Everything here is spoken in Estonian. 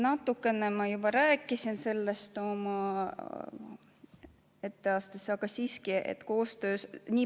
Natukene ma juba rääkisin sellest oma etteastes.